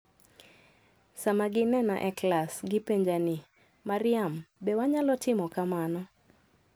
Sama ginena e klas, gipenja ni, 'Maryam, be wanyalo timo kamano?